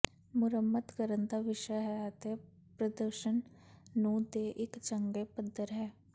ਮੁਰੰਮਤ ਕਰਨ ਦਾ ਵਿਸ਼ਾ ਹੈ ਅਤੇ ਪ੍ਰਦਰਸ਼ਨ ਨੂੰ ਦੇ ਇੱਕ ਚੰਗੇ ਪੱਧਰ ਹੈ